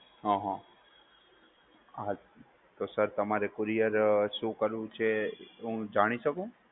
હહ તો સર તમારે કુરિયર શું કરવું છે હું જાણી શકું?